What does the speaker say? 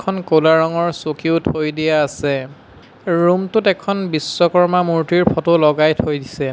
উম ক'লা ৰঙৰ চকীও থৈ দিয়া আছে ৰুম টোত এখন বিশ্বকৰ্মা মূৰ্তিৰ ফটো লগাই থৈ দিছে।